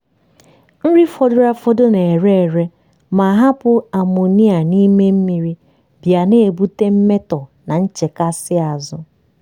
nri fọdụrụ afọdụ na-ere ere ma hapụ amonia n'ime mmiri bịa na-ebute mmetọ na nchekasị azụ.